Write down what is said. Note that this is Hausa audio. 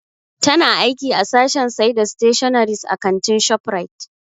Ta na aiki a sashen sai da stationaries a kantin Shoprite.